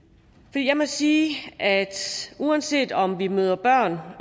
jeg må sige at uanset om vi møder børn